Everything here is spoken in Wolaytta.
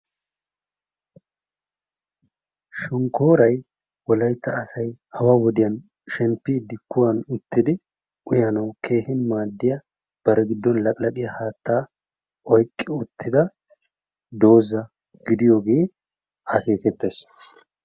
Shonkkoray wolaytta asay awa wodiyaan shemppidi kuwaani uttidi uyanawu keehi maadiya bari giddoni laqqilaqiyaa haattaa oyqqi uttidda dooza gidiyooge akekettes.